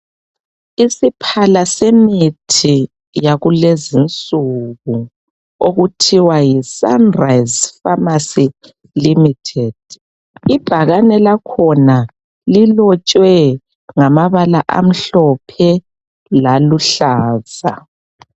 Isiphala semithi yakulezi insuku okuthiwa yiSUNRISE PHARMACY LIMITED. Ibhakane lakhona lilotshwe ngamabala amhlophe, laluhlaza.